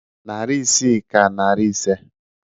Narị isii ka narị ise